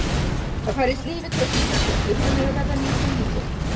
Það færist líf í tuskurnar þegar klukkan er að verða nítján nítján.